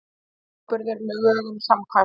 Sú ábyrgð er lögum samkvæmt